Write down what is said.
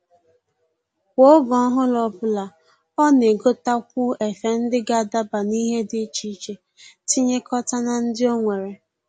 Kwa oge ọhụrụ ọbụla, ọ na-egotakwu efe ndị ga-adaba n'ihe dị iche iche tinyekọta na ndị o nwere